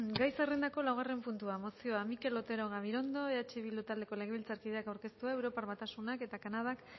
gai zerrendako laugarren puntua mozioa mikel otero gabirondo eh bildu taldeko legebiltzarkideak aurkeztua europar batasunak eta kanadak